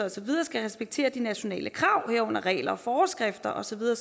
og så videre skal respektere de nationale krav herunder regler og forskrifter og så videre